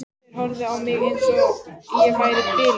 Þeir horfðu á mig eins og ég væri biluð.